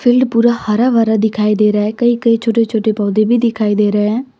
Field पूरा हरा भरा दिखाई दे रहा है कही कही छोटे छोटे पौधे भी दिखाई दे रहे है।